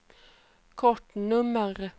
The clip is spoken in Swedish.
kortnummer